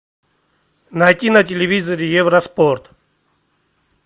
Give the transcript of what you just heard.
найти на телевизоре евроспорт